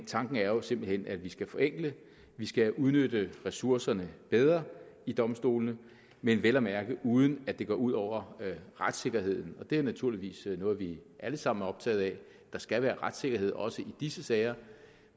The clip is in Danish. tanken er jo simpelt hen at vi skal forenkle at vi skal udnytte ressourcerne bedre i domstolene men vel at mærke uden at det går ud over retssikkerheden det er naturligvis noget vi alle sammen er optaget af der skal være retssikkerhed også i disse sager